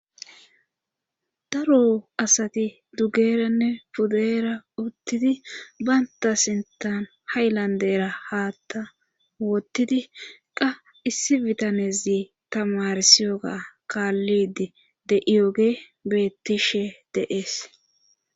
daro asati dugeeranne pudeera uttidi baynta sintan haylandera haatta wottidi qa issi bitanezi tamarsiyoga kaallidi de iyoge bettishe deees